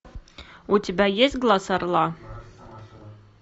у тебя есть глаз орла